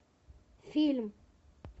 фильм